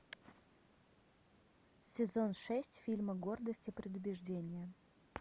сезон шесть фильма гордость и предубеждение